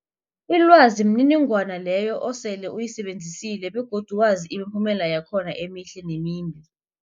Ilwazi mniningwana leyo osele uyisebenzisile begodu wazi imiphumela yakhona emihle nemimbi.